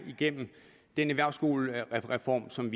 igennem den erhvervsskolereform som